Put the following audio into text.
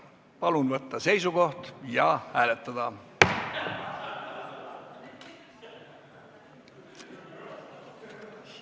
Palun võtta seisukoht ja hääletada!